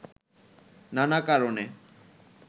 নানা কারণে